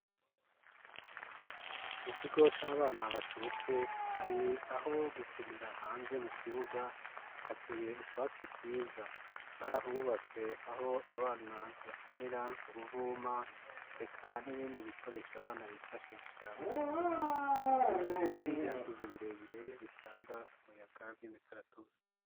Mu kigo c'abana bacutse hari aho gukinira hanze mu kibuga hateye utwatsi twiza barahubatse aho abana bakinira uruvuma reka n'ibindi bikoresha abana bifashisha mu gukina hari ibiti vyakuze birebire bitanga umuyaga rw'imikaratusi.